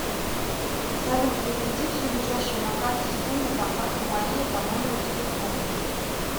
салют переведи всю лежащую на карте сумму контакту мария по номеру телефона